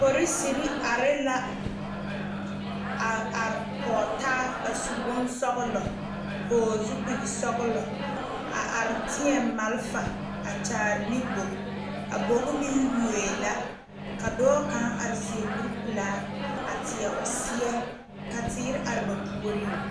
Poriserre are la a are kɔge taa a su bonsɔglɔ vɔgle zupile sɔglɔ a are teɛ malifa a kyaare ne bogi a bogi meŋ yuoee la ka dɔɔ kaŋ are seɛ kuripelaa a a teɛ o seɛ ka teere are ba puoriŋ.